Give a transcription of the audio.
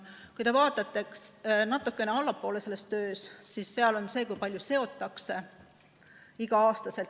Kui te vaatate natukene tahapoole selles töös, siis seal on kirjas, kui palju seotakse igal aastal.